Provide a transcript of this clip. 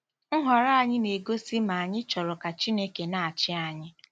Nhọrọ anyị na-egosi ma ànyị chọrọ ka Chineke na-achị anyị